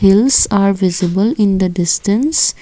hills are visible in the distance.